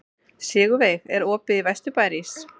Sigurveig, er opið í Vesturbæjarís?